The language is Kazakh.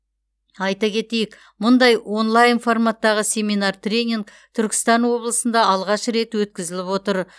айта кетейік мұндай онлайн форматтағы семинар тренинг түркістан облысында алғаш рет өткізіліп отыр